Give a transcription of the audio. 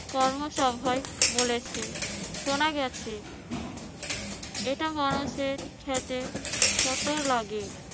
কর্মসভায় বলেছে। শোনা গেছে, এটা মানুষের খেতে কত লাগে